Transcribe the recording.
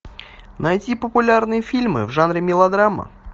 найти популярные фильмы в жанре мелодрама